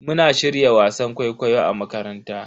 Muna shirya wasan kwaikwayo a makaranta.